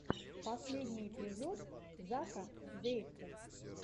последний эпизод зака зэйкэ